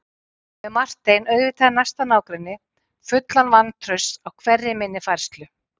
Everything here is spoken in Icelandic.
Með Martein auðvitað í næsta nágrenni, fullan vantrausts á hverri minni færslu.